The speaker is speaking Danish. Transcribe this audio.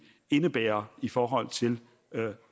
indebærer i forhold til